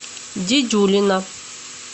дедюлина